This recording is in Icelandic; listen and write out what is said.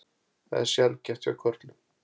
Það er sjaldgæft hjá körlum.